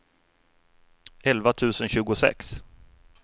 elva tusen tjugosex